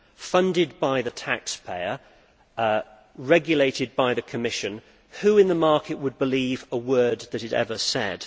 Funded by the taxpayer, regulated by the Commission who in the market would believe a word that it ever said?